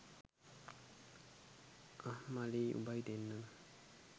අහ් මලීයි උඹයි දෙන්නම